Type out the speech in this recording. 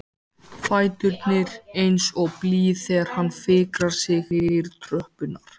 Fæturnir eins og blý þegar hann fikrar sig niður tröppurnar.